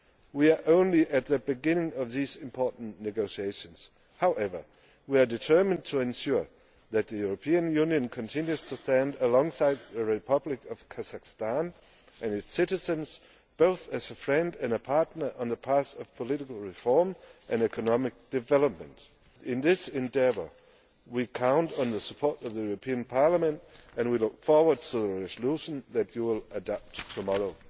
We are only at the beginning of these important negotiations. However, we are determined to ensure that the European Union continues to stand alongside the Republic of Kazakhstan and its citizens, both as a friend and a partner, on the path of political reform and economic development. In this endeavour we count on the support of the European Parliament and we look forward to the resolution that you will adopt tomorrow.